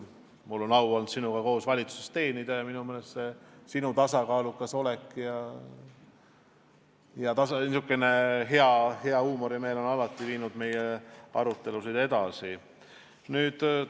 Mul on olnud au sinuga koos valitsuses teenida ja minu meelest sinu tasakaalukas olek ja hea huumorimeel on alati meie arutelusid edasi viinud.